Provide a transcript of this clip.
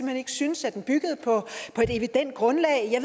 hen ikke syntes at den byggede på et evident grundlag jeg